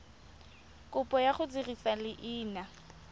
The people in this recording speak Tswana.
kopo ya go dirisa leina